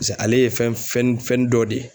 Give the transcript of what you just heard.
Pise ale ye fɛn fɛn n fɛn dɔ de ye